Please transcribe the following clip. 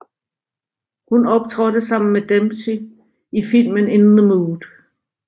Hun optrådte sammen med Dempsey i filmen In the Mood